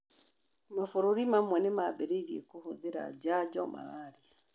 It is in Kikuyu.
mabũrũri mamwe nĩ mambĩrĩirie kũhũthĩra njanjo malaria